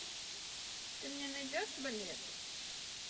ты мне найдешь балет